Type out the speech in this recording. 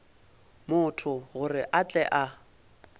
motho gore a tle a